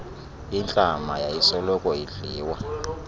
intlama yayisoloko idliwa